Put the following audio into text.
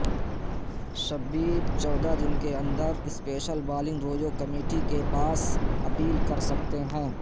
شبیر چودہ دن کے اندر سپیشل بالنگ رویو کمیٹی کے پاس اپیل کر سکتے ہیں